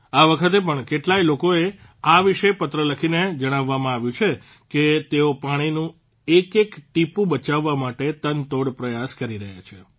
આ વખતે પણ કેટલાય લોકો વિશે પત્ર લખીને જણાવવામાં આવ્યું છે કે તેઓ પાણીનું એક એક ટીપું બચાવવા માટે તનતોડ પ્રયાસ કરી રહ્યા છે